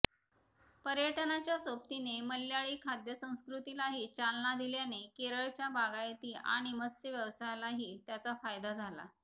पर्यटनाच्या सोबतीने मल्याळी खाद्यसंस्कृतीलाही चालना दिल्याने केरळच्या बागायती आणि मत्स्यव्यवसायालाही त्याचा फायदा झाला